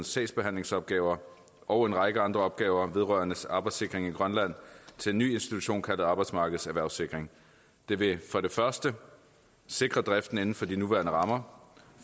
sagsbehandlingsopgaver og en række andre opgaver vedrørende arbejdssikring i grønland til en ny institution kaldet arbejdsmarkedets erhvervssikring det vil for det første sikre driften inden for de nuværende rammer og